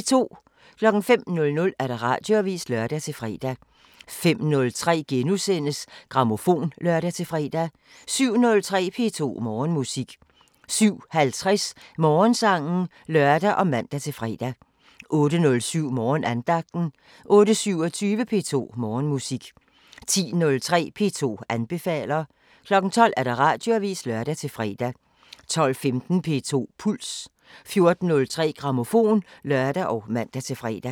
05:00: Radioavisen (lør-fre) 05:03: Grammofon *(lør-fre) 07:03: P2 Morgenmusik 07:50: Morgensangen (lør og man-fre) 08:07: Morgenandagten 08:27: P2 Morgenmusik 10:03: P2 anbefaler 12:00: Radioavisen (lør-fre) 12:15: P2 Puls 14:03: Grammofon (lør og man-fre)